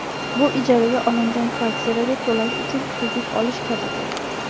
Bu ijaraga olingan kvartiraga to‘lash uchun kredit olish kabidir.